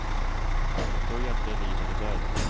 Då gällde det liv eller död.